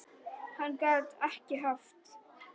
Hann gat ekki haft